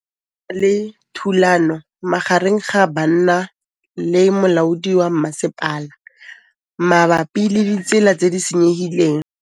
Go na le thulanô magareng ga banna le molaodi wa masepala mabapi le ditsela tse di senyegileng.